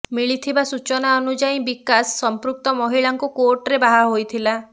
ମିଳିଥିବା ସୂଚନା ଅନୁଯାୟୀ ବିକାଶ ସମ୍ପୃକ୍ତ ମହିଳାଙ୍କୁ କୋର୍ଟରେ ବାହା ହୋଇଥିଲା